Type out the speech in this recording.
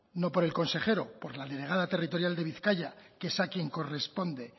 no por el consejero por la delegada territorial de bizkaia que es a quien corresponde